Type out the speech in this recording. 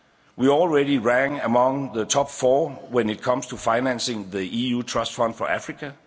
We already rank among the top four when it comes to financing the EU Trust Fund for Africa.